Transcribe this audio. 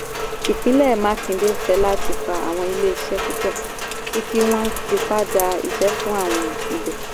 ìpínlẹ̀ makinde fẹ́láti fa àwọn ilé iṣẹ́ púpọ̀ sí i kí wọ́n tipa dá iṣẹ́ fún àwọn ibẹ̀.